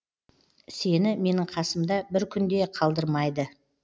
сені менің қасымда бір күн де қалдырмайды